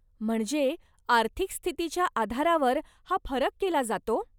म्हणजे आर्थिक स्थितीच्या आधारावर हा फरक केला जातो?